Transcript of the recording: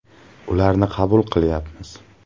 Ularni qabul qilyapmiz.